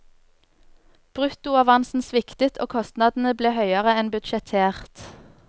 Bruttoavansen sviktet og kostnadene ble høyere enn budsjettert.